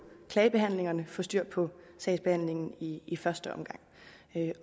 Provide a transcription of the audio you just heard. klagebehandlingerne få styr på sagsbehandlingen i i første omgang